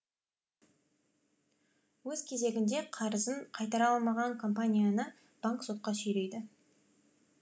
өз кезегінде қарызын қайтара алмаған компанияны банк сотқа сүйрейді